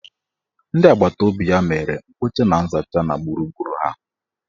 Ndị agbataobi ya mere mkpocha na nzacha na gburugburu ha.